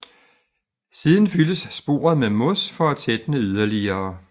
Siden fyldes sporet med mos for at tætne yderligere